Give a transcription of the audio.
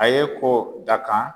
A ye ko dakan